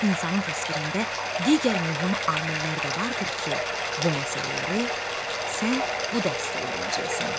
İnsanın təsvirində digər mühüm amillər də vardır ki, bu məsələləri sən bu dərsdə öyrənəcəksən.